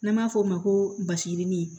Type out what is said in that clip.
N'an b'a f'o ma ko basidi